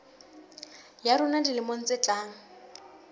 ya rona dilemong tse tlang